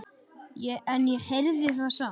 En ég heyrði það samt.